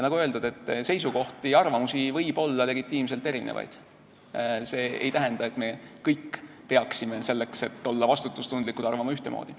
Nagu öeldud, seisukohti ja arvamusi võib olla legitiimselt erinevaid, see ei tähenda, et me kõik peaksime selleks, et olla vastutustundlikud, arvama ühtemoodi.